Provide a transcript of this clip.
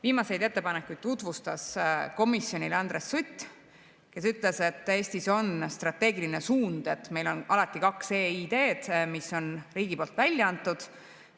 Viimaseid ettepanekuid tutvustas komisjonile Andres Sutt, kes ütles, et Eestis on strateegiline suund, et meil on alati kaks eID‑d, mis on riigi poolt välja antud.